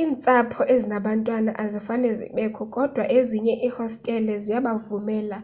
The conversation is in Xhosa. iintsapho ezinabantwana azifane zibekho kodwa ezinye iihostele ziyabavumela